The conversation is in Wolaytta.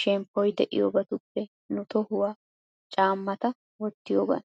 shemppoy de'iyoobatuppe nu tohuwan chammata wottiyoogan.